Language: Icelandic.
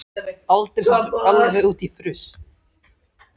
Aldrei samt alveg út í fruss.